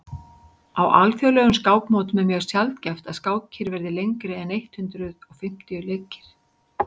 á alþjóðlegum skákmótum er mjög sjaldgæft að skákir verði lengri en eitt hundruð fimmtíu leikir